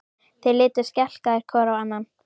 Þeir litu skelkaðir hvor á annan.